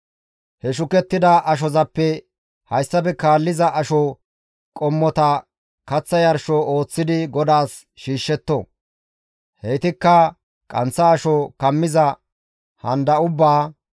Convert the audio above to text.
He shukettida ashozappe hayssafe kaalliza asho qommota kaththa yarsho ooththidi GODAAS shiishshetto; heytikka qanththa asho kammiza handa ubbaa,